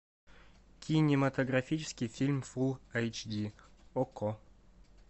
кинематографический фильм фулл эйч ди окко